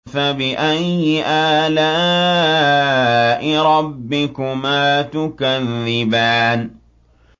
فَبِأَيِّ آلَاءِ رَبِّكُمَا تُكَذِّبَانِ